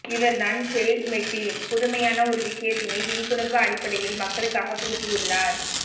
இவர்தான் ஹெல்மெட்டில் புதுமையான ஒரு விஷயத்தினை விழிப்புணர்வு அடிப்படையில் மக்களுக்காக புகுத்தியுள்ளார்